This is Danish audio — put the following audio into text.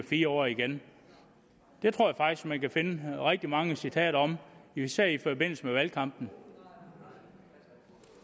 fire år igen det tror at man kan finde rigtig mange citater om især i forbindelse med valgkampen